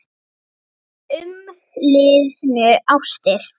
Mínar umliðnu ástir